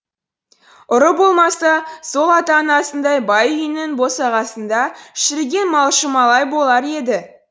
ұры болмаса сол ата анасындай бай үйінің босағасында шіріген малшы малай болар еді